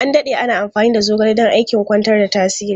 An dade ana amfani da zogale don aikin kwantar da tasiri.